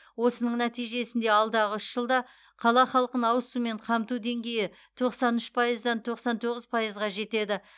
осының нәтижесінде алдағы үш жылда қала халқын ауыз сумен қамту деңгейі тоқсан үш пайыздан тоқсан тоғыз пайызға жетеді